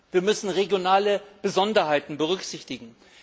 Wir müssen regionale Besonderheiten berücksichtigen.